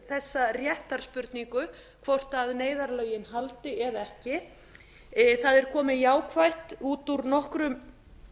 þessa réttarspurningu hvort neyðarlögin haldi eða ekki það er komið jákvætt út úr nokkrum